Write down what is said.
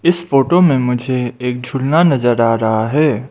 इस फोटो में मुझे एक झूला नजर आ रहा है।